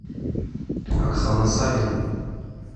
оксана санина